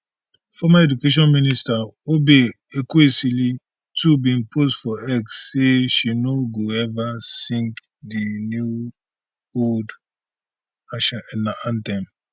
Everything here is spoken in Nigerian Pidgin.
former education minister obe ezekwesili too bin post for x say she no go ever sing di new old anthem